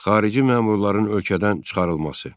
xarici məmurların ölkədən çıxarılması.